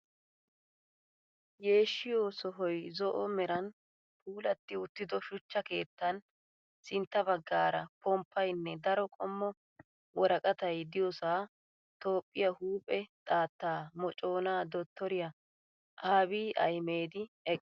Yeshiyoo sohoyi zo"o meeran puulatti uttido shuchcha keettan sintta baggaara pomppayinne daro qommo woraqatayi diyoosa toophphiyaa huuphe xaatta moconaa dottoriyaa abiyi ahimedi eqqis.